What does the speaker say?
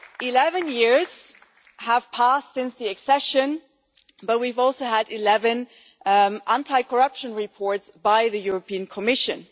Eleven years have passed since the accession, but we have also had 11 anti corruption reports by the European Commission.